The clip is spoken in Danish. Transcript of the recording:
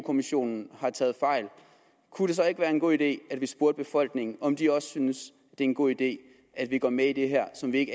kommissionen har taget fejl kunne det så ikke være en god idé at vi spurgte befolkningen om de også synes det er en god idé at vi går med i det her som vi